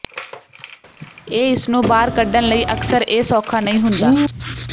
ਇਹ ਇਸ ਨੂੰ ਬਾਹਰ ਕੱਢਣ ਲਈ ਅਕਸਰ ਇਹ ਸੌਖਾ ਨਹੀਂ ਹੁੰਦਾ